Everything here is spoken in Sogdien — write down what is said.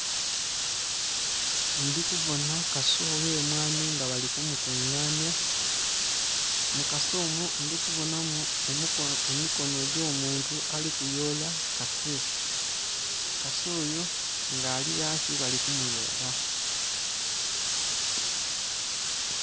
Ndhikubona kasee ogh'emwani nga bali kumukunganya, mukasee omwo ndhikubonamu emikono egyomuntu alikuyola, kasee ono nga ali ghansi balikumuyola.